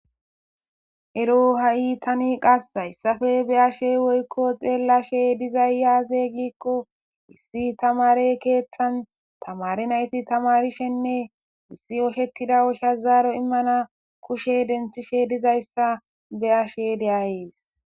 Ero ha'i tani qas hayssafe be ashe woykko xeellashe dizayyaazeygikko issi tamare keeththan tamari nayti tamarishenne issi oshetida osha zaaro immana kushe denthishe dizayssa be ashe deayees.